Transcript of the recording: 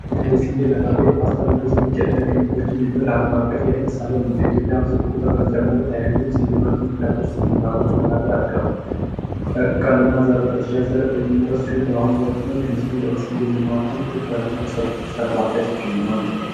ስንዴ ለዳቦ ለፓስታ እንዲሁም ለሌሎች ዱቄት ነክ ምግቦች የሚያገለግል አለም አቀፋዊ የምግብ ሰብል ነው በኢትዮጵያ ድርቁን ተከትሎ ምርት ፍላጎት በጣም በመጨመሩ በምርጥ ዘር የሚመረት ሲሆን እንደ ልማት ትኩረት ተሰጥቶበት ሲሰራ ይገኛል።